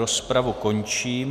Rozpravu končím.